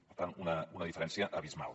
per tant una diferència abismal